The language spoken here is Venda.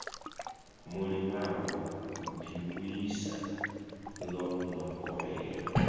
mulimavho ḓivhuisa ḽo no kovhela